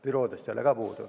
Büroodest ei ole ka puudu.